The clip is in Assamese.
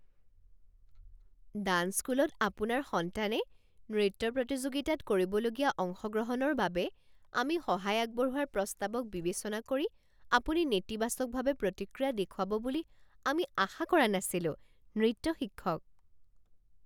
ডাঞ্চ স্কুলত আপোনাৰ সন্তানে নৃত্য প্ৰতিযোগিতাত কৰিবলগীয়া অংশগ্ৰহণৰ বাবে আমি সহায় আগবঢ়োৱাৰ প্ৰস্তাৱক বিবেচনা কৰি আপুনি নেতিবাচকভাৱে প্ৰতিক্ৰিয়া দেখুৱাব বুলি আমি আশা কৰা নাছিলোঁ। নৃত্য শিক্ষক